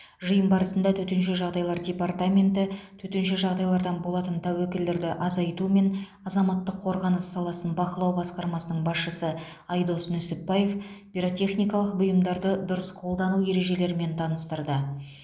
жиын барысында төтенше жағдайлар департаменті төтенше жағдайлардан болатын тәуекелдерді азайту мен азаматтық қорғаныс саласын бақылау басқармасының басшысы айдос нүсіпбаев пиротехникалық бұйымдарды дұрыс қолдану ережелерімен таныстырды